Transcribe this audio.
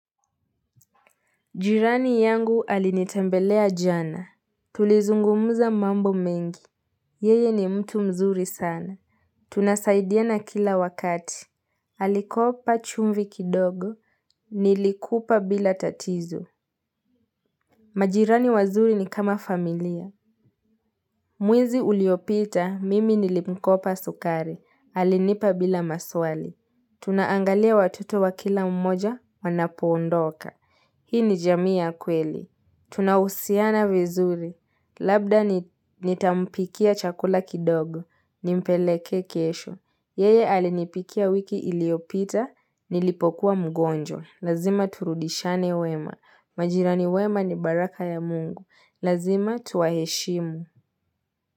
Jirani yangu alinitembelea jana. Tulizungumuza mambo mengi. Yeye ni mtu mzuri sana. Tunasaidiana kila wakati. Alikopa chumvi kidogo. Nilikupa bila tatizo. Majirani wazuri ni kama familia. Mwezi uliopita, mimi nilimkopa sukari. Alinipa bila maswali. Tunaangalia watoto wa kila mmoja wanapoondoka. Hii ni jamii ya kweli. Tunahusiana vizuri. Labda nitampikia chakula kidogo. Nimpelekee kesho. Yeye alinipikia wiki iliyopita. Nilipokuwa mgonjwa. Lazima turudishane wema. Majirani wema ni baraka ya Mungu. Lazima tuwaheshimu.